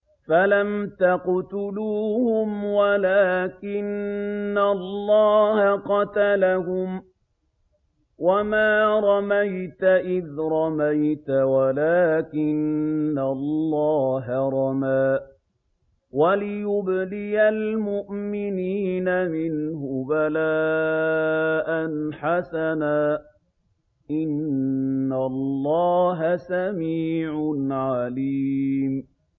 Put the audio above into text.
فَلَمْ تَقْتُلُوهُمْ وَلَٰكِنَّ اللَّهَ قَتَلَهُمْ ۚ وَمَا رَمَيْتَ إِذْ رَمَيْتَ وَلَٰكِنَّ اللَّهَ رَمَىٰ ۚ وَلِيُبْلِيَ الْمُؤْمِنِينَ مِنْهُ بَلَاءً حَسَنًا ۚ إِنَّ اللَّهَ سَمِيعٌ عَلِيمٌ